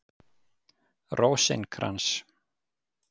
Rósinkrans